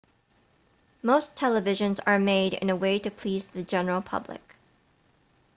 most televisions are made in a way to please the general public